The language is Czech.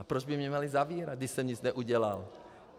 A proč by mě měli zavírat, když jsem nic neudělal!